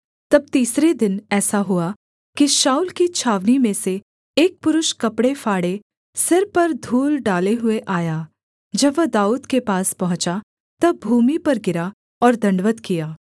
तब तीसरे दिन ऐसा हुआ कि शाऊल की छावनी में से एक पुरुष कपड़े फाड़े सिर पर धूल डाले हुए आया जब वह दाऊद के पास पहुँचा तब भूमि पर गिरा और दण्डवत् किया